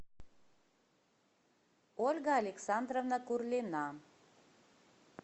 ольга александровна курлина